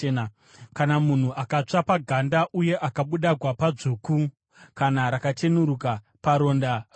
“Kana munhu akatsva paganda uye akabuda gwapa dzvuku kana rakacheneruka paronda rokutsva,